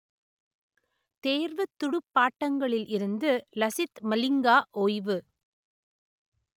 தேர்வுத் துடுப்பாட்டங்களில் இருந்து லசித் மலிங்கா ஓய்வு